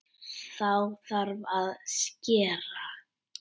Þá þarf að skera.